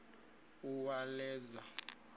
uwaleza